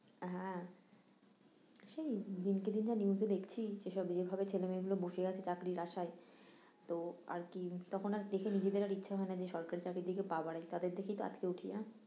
হ্যাঁ সেই দিনকে দিন যা নিউস এ দেখছি সে সব যে ভাবে ছেলে মেয়ে গুলো বসে আছে চাকরির আশায় তো আর কি, তখন আর দেখে নিজেদের আর ইচ্ছা হয় না যে সরকারি চাকরির দিকে পা বাড়াই, তাদের দেখেই তো আঁতকে উঠি না